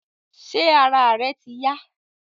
Ṣé ara rẹ ti yá